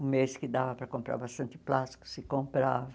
Um mês que dava para comprar bastante plástico, se comprava.